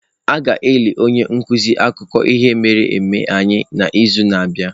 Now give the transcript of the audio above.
A ga-eli onye nkuzi akụkọ ihe mere eme anyị n'izu na-abịa.